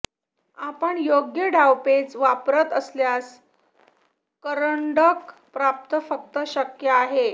आपण योग्य डावपेच वापरत असल्यास करंडक प्राप्त फक्त शक्य आहे